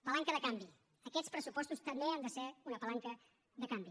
palanca de canvi aquests pressupostos també han de ser una palanca de canvi